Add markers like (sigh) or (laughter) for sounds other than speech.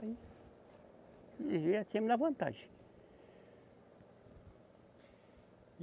Aí, (unintelligible) sempre na vantagem.